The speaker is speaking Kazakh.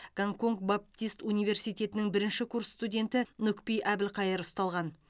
гонконг баптист университетінің бірінші курс студенті нүкпи әбілқайыр ұсталған